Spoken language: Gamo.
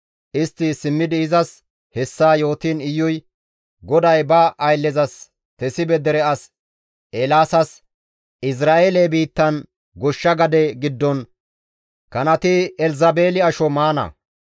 Istti simmidi izas hessa yootiin Iyuy, «GODAY ba ayllezas Tesibe dere as Eelaasas ‹Izra7eele biittan goshsha gade giddon kanati Elzabeeli asho maana.